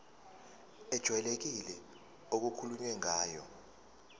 ejwayelekile okukhulunywe ngayo